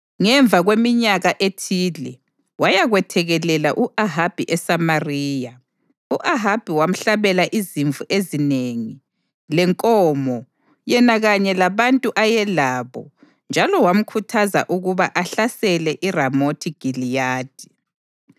Ngemva kweminyaka ethile wayakwethekelela u-Ahabi eSamariya. U-Ahabi wamhlabela izimvu ezinengi lenkomo yena kanye labantu ayelabo njalo wamkhuthaza ukuba ahlasele iRamothi Giliyadi.